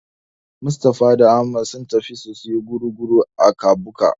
Mustapha da Ahmad sun tafi su siyo gurguru a Kabuga.